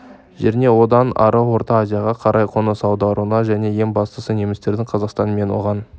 жеріне одан ары орта азияға қарай қоныс аударуына және ең бастысы немістердің қазақстан мен оған